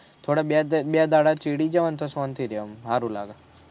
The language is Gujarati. થોડા બે બે દહાડા જાવ ને તો શાંતિ રેહ